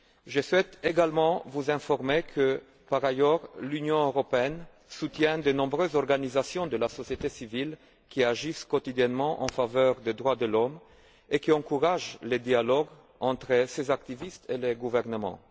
Je souhaite également vous informer que, par ailleurs, l'Union européenne soutient de nombreuses organisations de la société civile qui agissent quotidiennement en faveur des droits de l'homme et qui encouragent le dialogue entre ces activistes et les gouvernements.